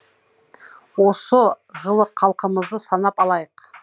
осы жылы халқымызды санап алайық